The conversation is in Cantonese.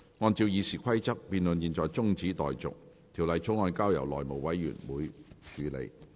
按照《議事規則》，辯論現在中止待續，條例草案交由內務委員會處理。